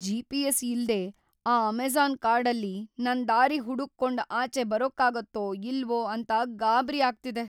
GPS. ಇಲ್ದೇ ಆ Amazon ಕಾಡಲ್ಲಿ ನಾನ್‌ ದಾರಿ ಹುಡುಕ್ಕೊಂಡ್‌ ಆಚೆ ಬರಕ್ಕಾಗತ್ತೋ ಇಲ್ವೋ ಅಂತ ಗಾಬ್ರಿ ಆಗ್ತಿದೆ.